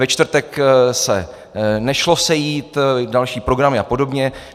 Ve čtvrtek se nešlo sejít - další programy a podobně.